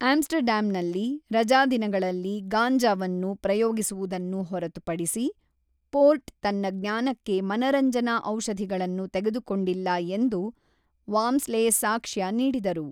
ಆಮ್‌ಸ್ಟರ್‌ಡ್ಯಾಮ್‌ನಲ್ಲಿ ರಜಾದಿನಗಳಲ್ಲಿ ಗಾಂಜಾವನ್ನು ಪ್ರಯೋಗಿಸುವುದನ್ನು ಹೊರತುಪಡಿಸಿ ಪೋರ್ಟ್ ತನ್ನ ಜ್ಞಾನಕ್ಕೆ ಮನರಂಜನಾ ಔಷಧಿಗಳನ್ನು ತೆಗೆದುಕೊಂಡಿಲ್ಲ ಎಂದು ವಾಮ್ಸ್ಲೆ ಸಾಕ್ಷ್ಯ ನೀಡಿದರು.